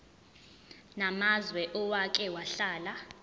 namazwe owake wahlala